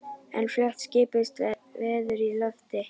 En fljótt skipuðust veður í lofti.